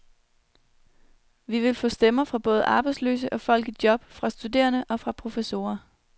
Vi vil få stemmer fra både arbejdsløse og folk i job, fra studerende og fra professorer.